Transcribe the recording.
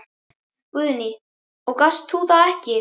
Guðný: Og gast þú það ekki?